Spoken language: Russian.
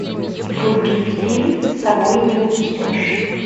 вруби фильм с собой не унесешь